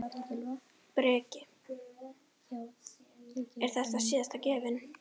Breki: Er þetta síðasta gjöfin?